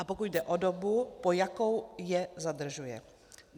A pokud jde o dobu, po jakou je zadržuje?